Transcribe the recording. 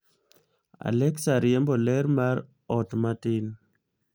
aleksa riembo ler mar ot matin